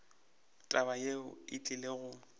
taba yeo e tlile go